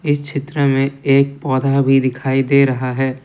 इस चित्र में एक पौधा भी दिखाई दे रहा है।